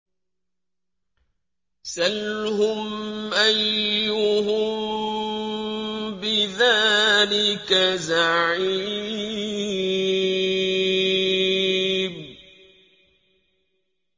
سَلْهُمْ أَيُّهُم بِذَٰلِكَ زَعِيمٌ